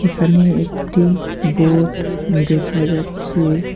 এখানে একটি বোর্ড দেখা যাচ্ছে।